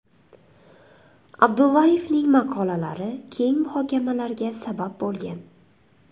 Abdullayevning maqolalari keng muhokamalarga sabab bo‘lgan.